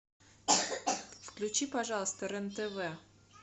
включи пожалуйста рен тв